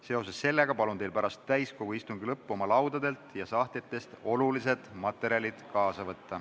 Seoses sellega palun teil pärast täiskogu istungi lõppu oma laudadelt ja sahtlitest olulised materjalid kaasa võtta.